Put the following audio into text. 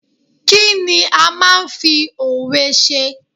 Kí ni a máa ń fi òwe ṣe?